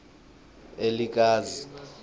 elikazi